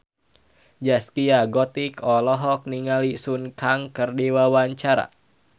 Zaskia Gotik olohok ningali Sun Kang keur diwawancara